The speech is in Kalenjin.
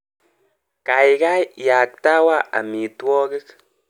Kaikai iaktawa amitwogik.